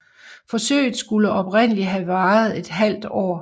Forsøget skulle oprindelig have varet et halvt år